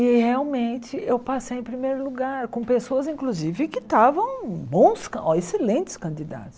e realmente eu passei em primeiro lugar, com pessoas inclusive que estavam bons, excelentes candidatos.